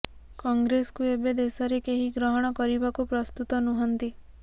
କଂଗ୍ରେସକୁ ଏବେ ଦେଶରେ କେହି ଗ୍ରହଣ କରିବାକୁ ପ୍ରସ୍ତୁତ ନୁହନ୍ତି